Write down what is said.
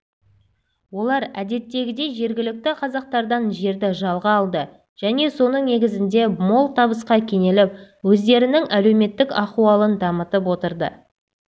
олар әдеттегідей жергілікті қазақтардан жерді жалға алды және соның негізінде мол табысқа кенеліп өздерінің әлеуметтік ахуалын дамытып отырды